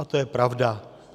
A to je pravda.